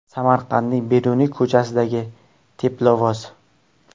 Samarqandning Beruniy ko‘chasidagi teplovoz.